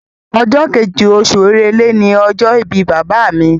Ọjọ́ kejì, osù èrèlé ni ọjọ́ ìbí bàbá mi